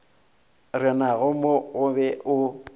renago mo o be o